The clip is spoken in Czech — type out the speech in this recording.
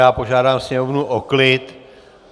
Já požádám sněmovnu o klid.